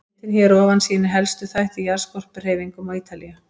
Myndin hér að ofan sýnir helstu þætti í jarðskorpuhreyfingum á Ítalíu.